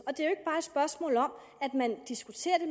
og spørgsmål om at man diskuterer det